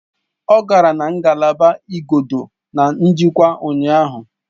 Ọ gara na ngalaba igodo na njikwa ụnyaahụ